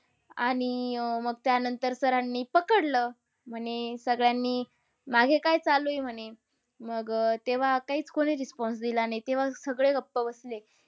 आणि अह मग त्यानंतर sir नी पकडलं. म्हणे सगळ्यांनी, मागे काय चालू आहे म्हणे? मग अह तेव्हा काहीच कोणी response दिला नाही. तेव्हा ते सगळे गप्प बसले.